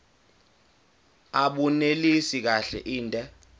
abunelisi kahle inde